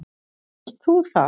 Vilt þú það?